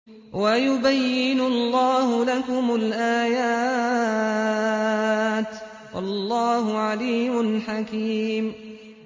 وَيُبَيِّنُ اللَّهُ لَكُمُ الْآيَاتِ ۚ وَاللَّهُ عَلِيمٌ حَكِيمٌ